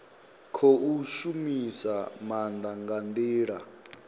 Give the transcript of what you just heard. khou shumisa maanda nga ndila